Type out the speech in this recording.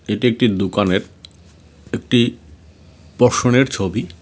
এটি একটি দোকানের একটি পশরের ছবি।